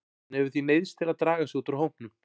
Hann hefur því neyðst til að draga sig út úr hópnum.